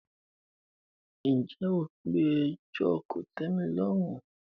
ǹjẹ́ o pe “ẹjọ́ kòtẹ́milọ́rùn ”.?